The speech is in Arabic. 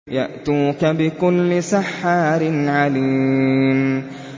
يَأْتُوكَ بِكُلِّ سَحَّارٍ عَلِيمٍ